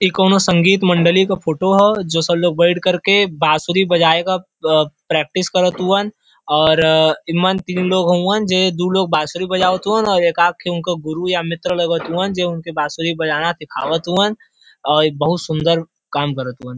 ई कौनो संगीत मण्डली क फोटो ह जो सब लोग बैठ कर के बांसुरी बजाये क अ प्रैक्टिस करत हुवन और इमन तीन लोग हुवन जे दू लोग बांसुरी बजावत हुवन और एक आद ठे उनकर गुरु या मित्र लगत हुवन जे उनके बांसुरी बजाना सिखावत हूवन और इ बहुत सुन्दर काम करत हुवन।